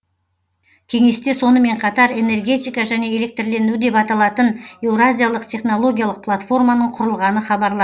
кеңесте сонымен қатар энергетика және электрлендіру деп аталатын еуразиялық технологиялық платформаның құрылғаны хабарланды